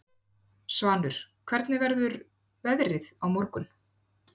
Svanur, hvernig verður veðrið á morgun?